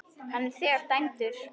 Hann er þegar dæmdur.